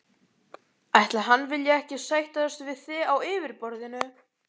Ætli hann vilji ekki sættast við þig á yfirborðinu.